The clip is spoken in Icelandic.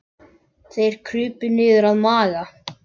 Þeir krupu niður að Magga.